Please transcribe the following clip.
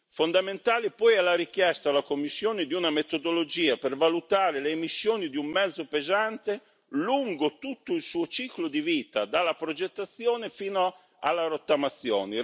Fondamentale è poi la richiesta alla Commissione di una metodologia per valutare le emissioni di un mezzo pesante lungo tutto il suo ciclo di vita, dalla progettazione fino alla rottamazione.